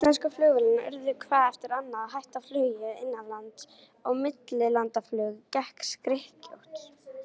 Íslensku flugfélögin urðu hvað eftir annað að hætta flugi innanlands, og millilandaflug gekk skrykkjótt.